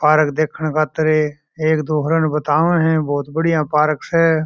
पार्क देखण खातर एक दो दूसरे ने बताव है बहुत बढ़िया पार्क स।